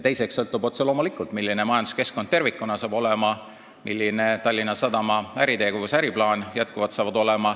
Teiseks sõltub see otse loomulikult sellest, milline majanduskeskkond tervikuna hakkab olema ning millised hakkavad olema Tallinna Sadama äritegevus ja äriplaan.